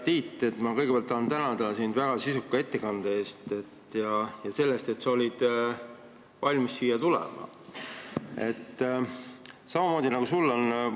Hea Tiit, ma kõigepealt tahan sind tänada väga sisuka ettekande eest ja selle eest, et sa olid valmis siia tulema!